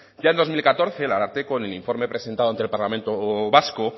ya en dos mil catorce el ararteko en el informe presentado ante el parlamento vasco